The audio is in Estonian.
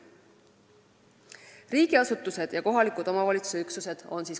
Kolmas sihtgrupp on riigiasutused ja kohaliku omavalitsuse üksused.